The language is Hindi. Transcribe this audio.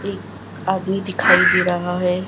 एक आदमी दिखाई दे रहा हैं।